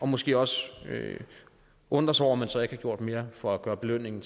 måske også undrer sig over at man så ikke har gjort mere for at gøre belønningen